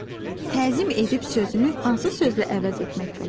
Təzim edib sözünü hansı sözlə əvəz etmək olar?